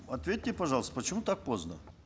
ответьте пожалуйста почему так поздно